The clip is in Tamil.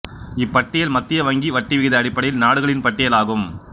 இப்பட்டியல் மத்திய வங்கி வட்டி விகித அடிப்படையில் நாடுகளின் பட்டியல் ஆகும்